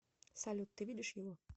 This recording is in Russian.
салют ты видишь его